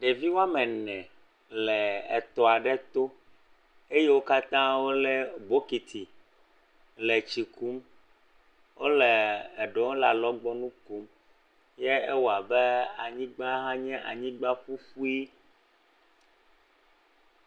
Ɖeviwo wɔme ene le etɔ aɖe to eye wo katã wole bɔkiti le tsi kɔm wole eɖewo le alɔgbɔnu kom. Ye ewɔ abe anyigba nye anyigba ƒuƒi.